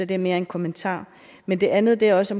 det er mere en kommentar men det andet er også